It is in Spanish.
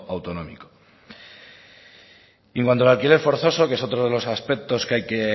autonómico y en cuanto al alquiler forzoso que es otro de los aspectos que hay que